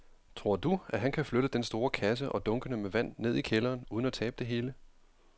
Tror du, at han kan flytte den store kasse og dunkene med vand ned i kælderen uden at tabe det hele?